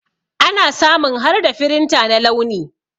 Ana samun harda firinta na launi.